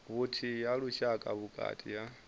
vhuthihi ha lushaka vhukati ha